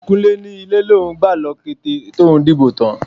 Kúnlé ni ilé lòun gbà lọ kété tòun dìbò tán.